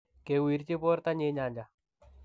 kewirji bortanyi nyanja.